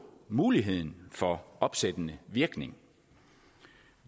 muligheden for opsættende virkning